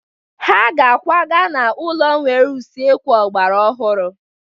Ha ga-akwaga n'ụlọ nwere usekwu ọgbara ọhụrụ.